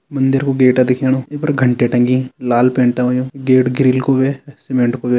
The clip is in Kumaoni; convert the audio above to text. मंदिर कु गेट दिखेणु ऐपर घंटी टंगी लाल पैंट होयुं गेट ग्रिल को ह्वे सीमेंट को ह्वे।